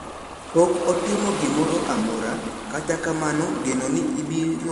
Pok otimo gimoro amora kata kamano geno ni obirowuoyo e sand ma ne otimneno chama kiling`ling`